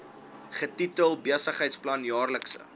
getitel besigheidsplan jaarlikse